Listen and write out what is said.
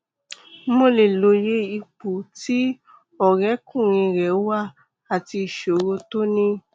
mo lè lóye ipò tí ọrẹkùnrin rẹ wà àti ìṣòro tó ní